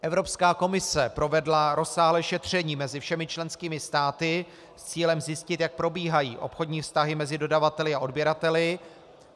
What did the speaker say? Evropská komise provedla rozsáhlé šetření mezi všemi členskými státy s cílem zjistit, jak probíhají obchodní vztahy mezi dodavateli a odběrateli.